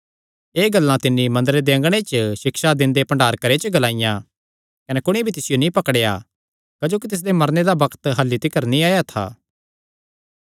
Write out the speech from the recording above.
एह़ गल्लां तिन्नी मंदरे दे अँगणे च सिक्षा दिंदे भण्डार घरे च ग्लाईयां कने कुणी भी तिसियो नीं पकड़ेया क्जोकि तिसदे मरने दा बग्त अह्ल्ली तिकर नीं आया था